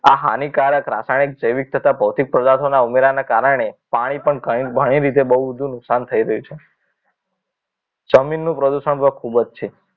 આ હાનિકારક રાસાયણિક જૈવિક તથા ભૌતિક પદાર્થોના ઉમેરાના કારણે પાણી પણ ઘણી રીતે બહુ બધું નુકસાન થઈ રહ્યું છે જમીનનું પ્રદૂષણ પણ ખૂબ જ છે